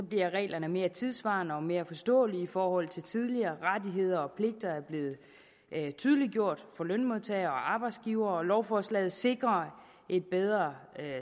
bliver reglerne mere tidssvarende og mere forståelige i forhold til tidligere rettigheder og pligter er blevet tydeliggjort for lønmodtagere og arbejdsgivere og lovforslaget sikrer et bedre